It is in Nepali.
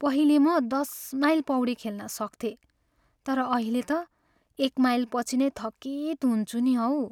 पहिले म दस माइल पौडी खेल्न सक्थेँ तर अहिले त एक माइलपछि नै थकित हुन्छु नि हौ।